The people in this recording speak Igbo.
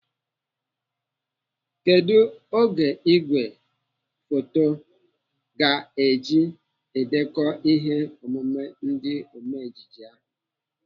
Kedụ ogo ìgwè foto Ị ga-eji edeko ihe omume ndị ome ejije ahụ?